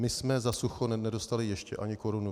My jsme za sucho nedostali ještě ani korunu.